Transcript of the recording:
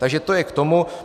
Takže to je k tomu.